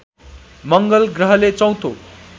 मङ्गल ग्रहले चौथो